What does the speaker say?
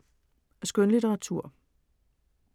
Skønlitteratur